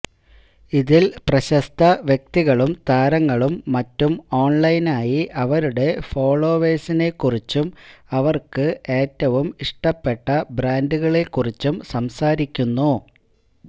ഇതില് പ്രശസ്ത വ്യക്തികളും താരങ്ങളും മറ്റും ഓണ്ലൈനായി അവരുടെ ഫോളോവേഴ്സിനെ കുറിച്ചും അവര്ക്ക് ഏറ്റവും ഇഷ്ടപ്പെട്ട ബ്രാന്ഡുകളെ കുറിച്ചും സംസാരിക്കുന്നു